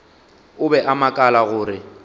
o be a makala gore